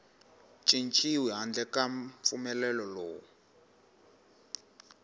cinciwi handle ka mpfumelelo lowu